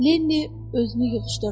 Lenni özünü yığışdırdı.